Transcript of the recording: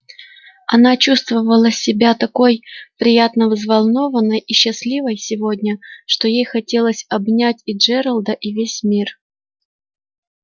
она чувствовала себя такой приятно взволнованной и счастливой сегодня что ей хотелось обнять и джералда и весь мир